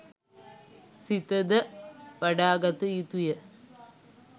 සිත ද වඩාගත යුතුය.